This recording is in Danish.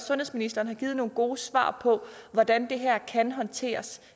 sundhedsministeren har givet nogle gode svar på hvordan det her kan håndteres